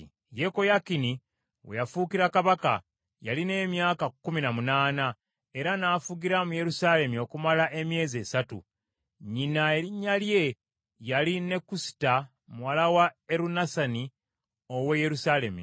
Yekoyakini we yafuukira kabaka yalina emyaka kkumi na munaana, era n’afugira mu Yerusaalemi okumala emyezi esatu. Nnyina erinnya lye yali Nekusita muwala wa Erunasani ow’e Yerusaalemi.